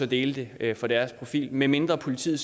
delt det fra deres profil medmindre politiet